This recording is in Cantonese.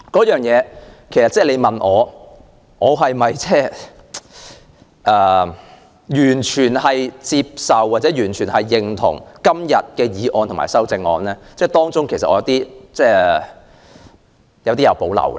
如果問我是否完全接受或認同原議案及修正案，其實我對當中一些建議有所保留。